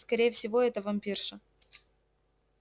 скорее всего это вампирша